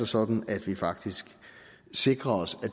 sådan at vi faktisk sikrer os at